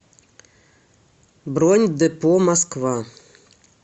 бронь депо москва